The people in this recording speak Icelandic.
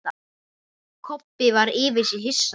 Kobbi var yfir sig hissa.